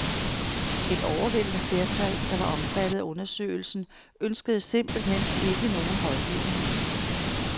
Et overvældende flertal, der var omfattet af undersøgelsen, ønskede simpelthen ikke nogen rådgivning.